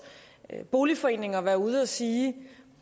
boligforeninger være ude at sige